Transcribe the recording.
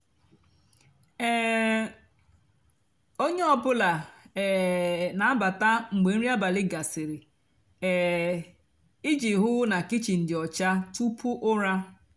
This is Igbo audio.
um ónyé ọ bụlà um nà-àbata mgbe nrì abálị gasịrị um íjì hú ná kichin dị ọcha túpú úrá.